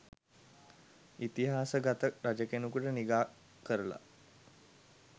ඉතිහාස ගත රජකෙනුකුට නිගා කරලා